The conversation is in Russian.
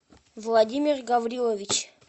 владимир гаврилович